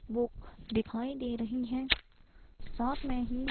book दिखाई दे रही है साथ में ही--